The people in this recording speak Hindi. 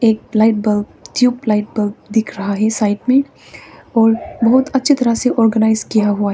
एक लाइट बल्ब ट्यूबलाइट बल्ब दिख रहा है साइड मे और बहुत अच्छी तरह से ऑर्गेनाइज किया हुआ है।